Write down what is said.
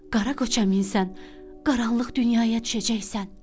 Qara qoça minsən, qaranlıq dünyaya düşəcəksən.